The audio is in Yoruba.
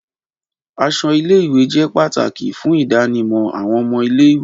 Aṣọ ile-iwe jẹ pataki fun idanimọ awọn ọmọ ile-iwe